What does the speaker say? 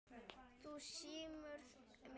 Þú smyrð mig ekki.